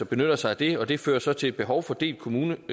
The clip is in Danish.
benytter sig af det og det fører så til et behov for delt kommuneskat